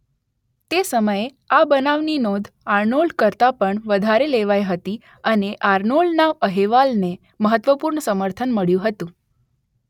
તે સમયે આ બનાવની નોંધ આર્નોલ્ડ કરતાં પણ વધારે લેવાઈ હતી અને આર્નોલ્ડના અહેવાલને મહત્વપૂર્ણ સમર્થન મળ્યું હતું